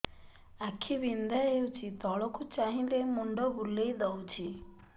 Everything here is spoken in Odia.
ଆଖି ବିନ୍ଧା ହଉଚି ତଳକୁ ଚାହିଁଲେ ମୁଣ୍ଡ ବୁଲେଇ ଦଉଛି